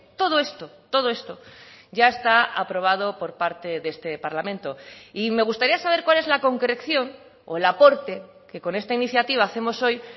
todo esto todo esto ya está aprobado por parte de este parlamento y me gustaría saber cuál es la concreción o el aporte que con esta iniciativa hacemos hoy